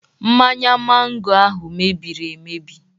Mmanya mango ahụ mebiri emebi.